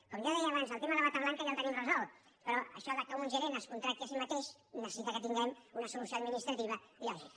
com jo deia abans el tema de la bata blanca ja el tenim resolt però això que un gerent es contracti a si mateix necessita que tinguem una solució administrativa lògica